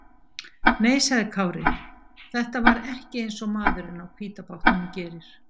Nei, sagði Kári, þetta var ekki eins og maðurinn á hvíta bátnum gerir.